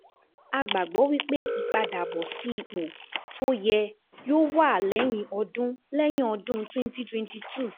A gbàgbọ́ wí pé ìpadàbọ̀ sí ipò tó yẹ yóò wà lẹ́yìn ọdún lẹ́yìn ọdún twenty twenty two